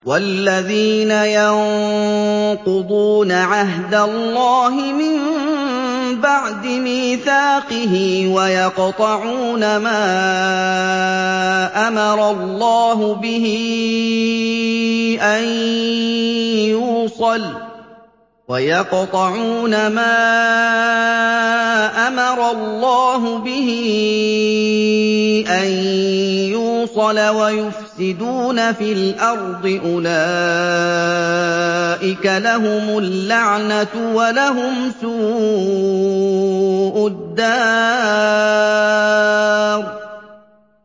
وَالَّذِينَ يَنقُضُونَ عَهْدَ اللَّهِ مِن بَعْدِ مِيثَاقِهِ وَيَقْطَعُونَ مَا أَمَرَ اللَّهُ بِهِ أَن يُوصَلَ وَيُفْسِدُونَ فِي الْأَرْضِ ۙ أُولَٰئِكَ لَهُمُ اللَّعْنَةُ وَلَهُمْ سُوءُ الدَّارِ